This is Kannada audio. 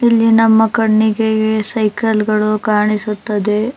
ಇಲ್ಲಿ ನಮ್ಮ ಕಣ್ಣಿಗೆ ಸೈಕಲ್ ಗಳು ಕಾಣಿಸುತ್ತದೆ.